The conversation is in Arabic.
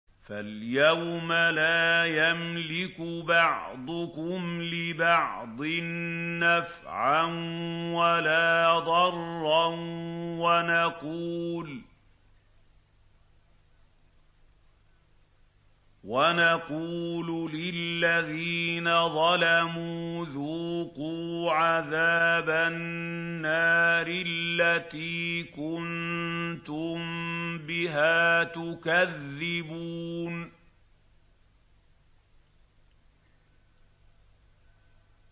فَالْيَوْمَ لَا يَمْلِكُ بَعْضُكُمْ لِبَعْضٍ نَّفْعًا وَلَا ضَرًّا وَنَقُولُ لِلَّذِينَ ظَلَمُوا ذُوقُوا عَذَابَ النَّارِ الَّتِي كُنتُم بِهَا تُكَذِّبُونَ